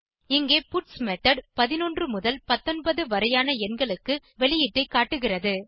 இங்கே பட்ஸ் மெத்தோட் 11 முதல் 19 வரையான எண்களுக்கு வெளியீட்டை காட்டுகிறது